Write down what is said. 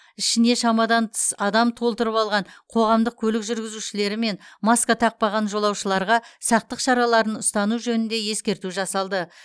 ішіне шамадан тыс адам толтырып алған қоғамдық көлік жүргізушілері мен маска тақпаған жолаушыларға сақтық шараларын ұстану жөнінде ескерту жасалды